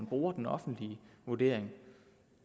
bruger den offentlige vurdering